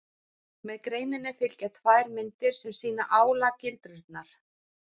Með greininni fylgja tvær myndir sem sýna álagildrurnar.